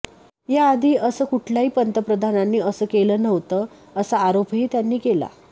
या आधी असं कुठल्याही पंतप्रधानांनी असं केलं नव्हतं असा आरोपही त्यांनी केला